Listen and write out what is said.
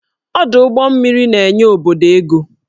Ọdụ ụgbọ mmiri na-enye obodo ego